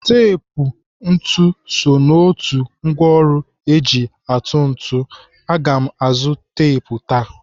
Tep ntụ so n'otu ngwaọrụ eji atụ ntụ. Aga m azụ tep taa.